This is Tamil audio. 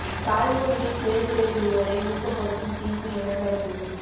தாய் மொழியில் தேர்வு எழுதுவோரை ஊக்கப்படுத்தும் தீர்ப்பு என கருத்து